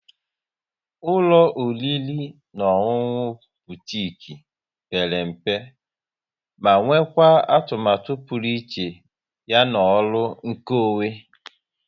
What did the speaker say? Ụlọ oriri na ọṅụṅụ Butiik pere mpe ma nwekwaa atụmatụ pụrụ iche ya na ọrụ nkeonwe